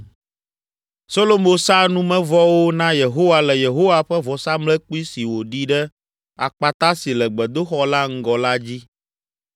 Solomo sa numevɔwo na Yehowa le Yehowa ƒe vɔsamlekpui si wòɖi ɖe akpata si le gbedoxɔ la ŋgɔ la dzi.